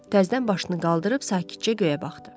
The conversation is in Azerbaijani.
Təzədən başını qaldırıb sakitcə göyə baxdı.